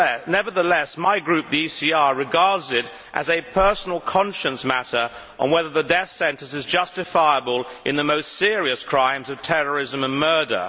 Nevertheless, my group, the ECR, regards it as a personal conscience matter whether the death sentence is justifiable in the most serious crimes of terrorism and murder.